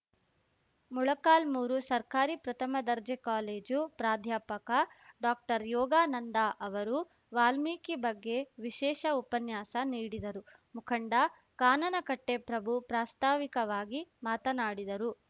ಮೊಳಕಾಲ್ಮೂರು ಸರ್ಕಾರಿ ಪ್ರಥಮ ದರ್ಜೆ ಕಾಲೇಜು ಪ್ರಾಧ್ಯಾಪಕ ಡಾಕ್ಟರ್ ಯೋಗಾನಂದ ಅವರು ವಾಲ್ಮೀಕಿ ಬಗ್ಗೆ ವಿಶೇಷ ಉಪನ್ಯಾಸ ನೀಡಿದರು ಮುಖಂಡ ಕಾನನಕಟ್ಟೆಪ್ರಭು ಪ್ರಾಸ್ತಾವಿಕವಾಗಿ ಮಾತನಾಡಿದರು